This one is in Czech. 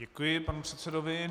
Děkuji panu předsedovi.